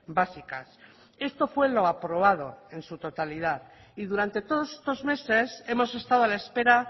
básicas esto fue lo aprobado en su totalidad y durante todos estos meses hemos estado a la espera